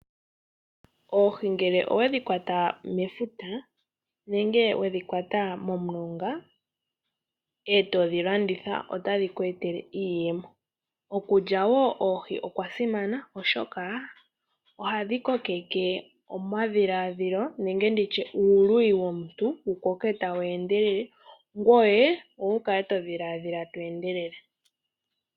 Oohi ngele owedhi kwata mefuta nenge wedhi kwata momulonga, etodhi landitha otadhi ku etele iiyemo. Okulya woo oohi okwa simana ooshoka, ohadhi koke omadhilaadhilo nenge uuluyi womuntu wukoke tawu endelele ngoye wu kale todhiladhila to endelele.